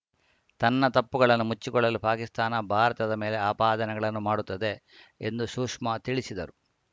ತನ್ನ ತಪ್ಪುಗಳನ್ನು ಮುಚ್ಚಿಕೊಳ್ಳಲು ಪಾಕಿಸ್ತಾನ ಭಾರತದ ಮೇಲೆ ಆಪಾದನೆಗಳನ್ನು ಮಾಡುತ್ತದೆ ಎಂದು ಶುಷ್ಮಾ ತಿಳಿಸಿದರು